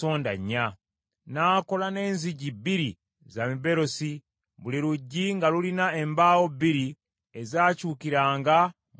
N’akola n’enzigi bbiri za miberosi, buli luggi nga lulina embaawo bbiri ezakyukiranga mu myango.